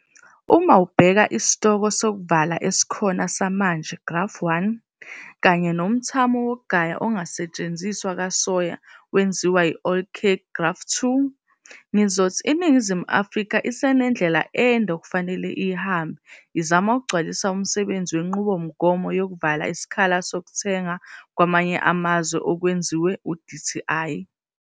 Uma ubheka isitoko sokuvala esikhona samanje, igrafu 1, kanye nomthamo wokugaya ongasetshenziswa kasoya wenziwa i-oilcake, Igrafu 2, ngizothi iNingizimu Afrika isenendlela ende okufanele iyihambe izama ukugcwalisa umsebenzi wenqubomgomo yokuvala isikhala sokuthenga kwamanye amazwe okwenziwe u-Dti.